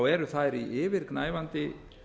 eru þær í yfirgnæfandi